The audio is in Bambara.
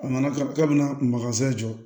A nana ka na jɔ